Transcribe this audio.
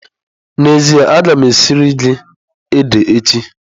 N'ezie, a ga m esiri gị ede echi.